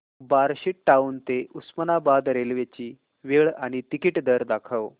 Barshi town ते Osmanabad railway ची वेळ आणि तिकीट दर दाखव